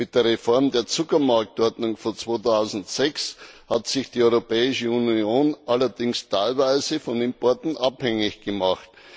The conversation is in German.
Mit der Reform der Zuckermarktordnung von 2006 hat sich die Europäische Union allerdings teilweise von Importen abhängig gemacht.